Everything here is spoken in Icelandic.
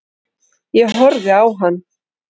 Ég horfði á hann.